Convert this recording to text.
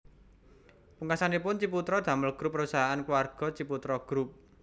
Pungkasanipun Ciputra damel grup perusahaan keluarga Ciputra Group